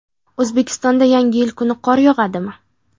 O‘zbekistonda Yangi yil kuni qor yog‘adimi?.